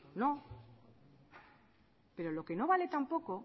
no pero lo que no vale tampoco